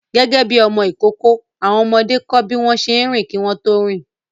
Gẹ́gẹ́ bí ọmọ ìkókó, àwọn ọmọdé kọ́ bí wọ́n ṣe ń rìn kí wọ́n tó rìn